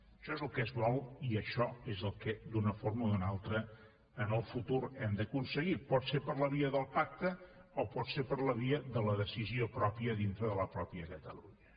això és el que es vol i això és el que d’una forma o d’una altra en el futur hem d’aconseguir pot ser per la via del pacte o pot ser per la via de la decisió pròpia dintre de la mateixa catalunya